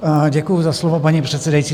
Děkuji za slovo, paní předsedající.